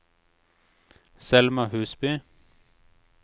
Selma Husby